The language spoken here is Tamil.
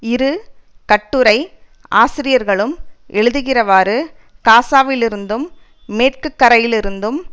இரு கட்டுரை ஆசிரியர்களும் எழுதுகிறவாறு காசாவிலிருந்தும் மேற்கு கரையிலிருந்தும்